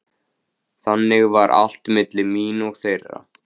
Þannig var allt milli mín og þeirra.